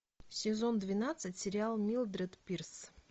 сезон двенадцать сериал милдред пирс